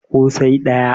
ko sai daya